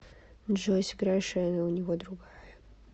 джой сыграй шена у него другая